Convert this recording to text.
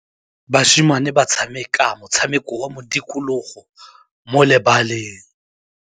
Basimane ba tshameka motshameko wa modikologô mo lebaleng.